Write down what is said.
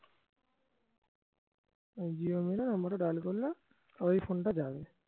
dial করলাম আবার এই phone টা যাবে